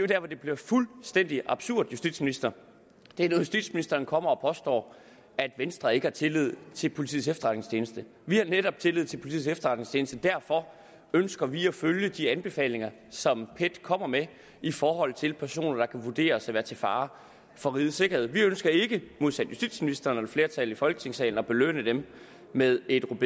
der hvor det bliver fuldstændig absurd justitsministeren er når justitsministeren kommer og påstår at venstre ikke har tillid til politiets efterretningstjeneste vi har netop tillid til politiets efterretningstjeneste og derfor ønsker vi at følge de anbefalinger som pet kommer med i forhold til personer der kan vurderes at være til fare for rigets sikkerhed vi ønsker ikke modsat justitsministeren og et flertal i folketingssalen at belønne dem med et